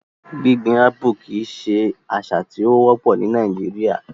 Gbigbin Apple kii ṣe asa ti o wopọ ni Nàìjíríà